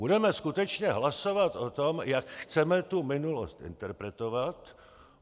Budeme skutečně hlasovat o tom, jak chceme tu minulost interpretovat.